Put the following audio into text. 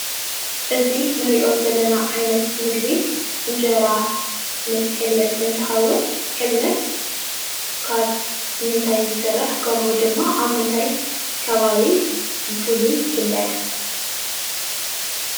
እዚ እንሪኦ ዘለና ዓይነት ምግቢ እንጀራ ምስ ሕልበት እትኸውን ሕልበት ካብ ምንታይ ይስራሕ? ከምኡ ድማ ኣብ ምንታይ ከባቢ ብፉሉይ ይፍለጥ ?